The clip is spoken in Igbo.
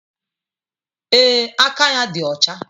Ee, aka ya dị ọcha